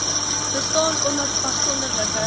bestaan omdat afsonderlike